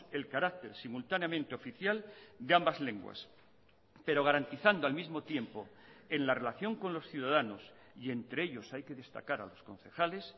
el carácter simultáneamente oficial de ambas lenguas pero garantizando al mismo tiempo en la relación con los ciudadanos y entre ellos hay que destacar a los concejales